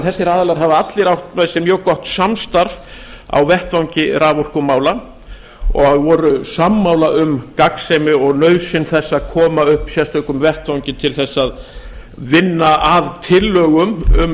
þessir aðilar hafa allir átt með sér mjög gott samstarf á vettvangi raforkumála og voru sammála um gagnsemi og nauðsyn þess að koma upp sérstökum vettvangi til þess að vinna að tillögum um